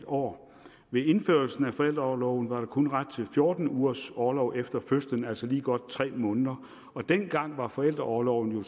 år ved indførelsen af forældreorloven var der kun ret til fjorten ugers orlov efter fødslen altså lige godt tre måneder dengang var forældreorloven jo